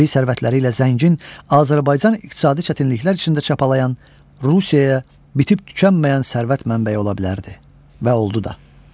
Təbii sərvətləri ilə zəngin Azərbaycan iqtisadi çətinliklər içində çapalıyan Rusiyaya bitib-tükənməyən sərvət mənbəyi ola bilərdi və oldu da.